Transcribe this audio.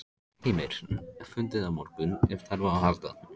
Heimir: Fundið á morgun ef þarf á að halda?